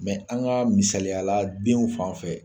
an ka misaliya la denw fan fɛ